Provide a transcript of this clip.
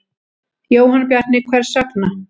Jóhann Bjarni: Hvers vegna?